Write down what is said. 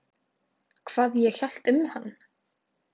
Hvað ég hélt um hann?